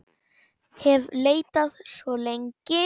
hef leitað svo lengi.